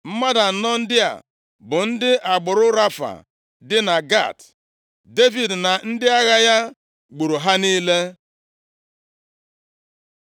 Mmadụ anọ ndị a bụ ndị agbụrụ Rafa dị na Gat. Devid na ndị agha ya gburu ha niile.